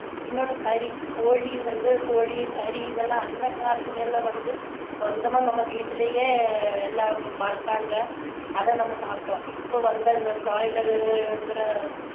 இன்னொண்ணு கறி கோழிங்குறது வந்து கோழி கறி இதெல்லாம் அந்த காலத்துல எல்லாம் வந்து சொந்தமா நம்ம வீட்டுலயே எல்லாம் வளத்தாங்க அதை நம்ம சாப்பிட்டோம் இப்போ வந்து அந்த broiler ங்குற